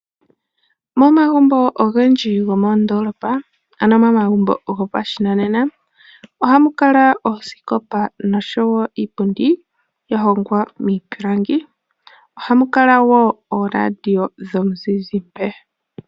Momagumbo ogendji gomoondoolopa, ano momagumbo goshinanena ohamu kala oosikopa noshowo iipundi ya hongwa miipilangi. Ohamu kala woo ooradio dhomuzizimba.